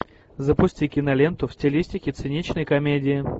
запусти киноленту в стилистике циничной комедии